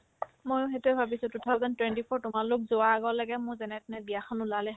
ময়ো সেইটোয়ে ভাবিছো two thousand twenty four ত তোমালোক যোৱাৰ আগলৈকে মোৰ যেনে তেনে বিয়া এখন ওলালে হয়